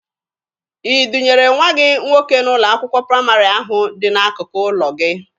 I dunyere nwa gị nwoke n'ụlọ akwụkwọ praịmarị ahụ dị n'akụkụ ụlọ gị?